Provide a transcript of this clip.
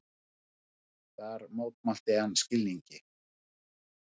Þar mótmælti hann skilningi